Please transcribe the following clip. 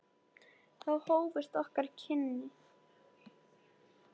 Þá hófust okkar kynni.